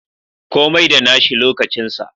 Komai da nashi lokacin sa.